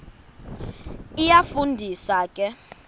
iyafu ndisa ke